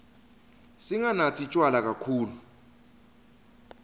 singanatsi tjwala kakhulu